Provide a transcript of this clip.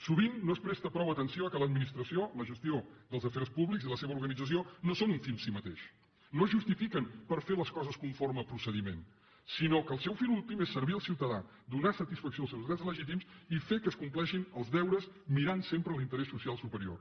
sovint no es presta prou atenció al fet que l’administració la gestió dels afers públics i la seva organització no són un fi en si mateix no es justifiquen per fer les coses conforme procediment sinó que el seu fi últim és servir el ciutadà donar satisfacció als seus drets legítims i fer que es compleixin els deures mirant sempre l’interès social superior